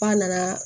F'a nana